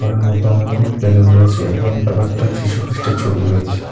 ঘরের মধ্যে অনেকগুলো বেলুন রয়েছে একজন আবার একটা যীশু খ্রীষ্টের ছবি রয়েছে।